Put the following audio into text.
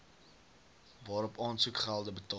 waarop aansoekgelde betaal